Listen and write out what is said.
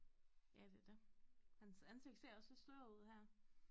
Ja det er det hans ansigt ser også lidt sløret ud her